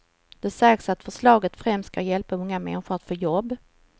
Det sägs att förslaget främst ska hjälpa unga människor att få jobb.